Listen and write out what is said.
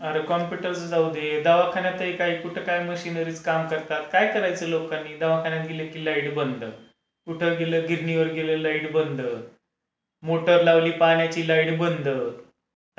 अरे कम्प्युटरचा जाऊ दे. दवाखान्यात तर काय कुठे काय मशिनरीज काम करतात? काय करायचं लोकांनी? दवाखान्यात गेलं की लाईट बंद, कुठे गेलं गिरणीवर गेलं की लाईट बंद, मोटर लावली पाण्याची लाईट बंद.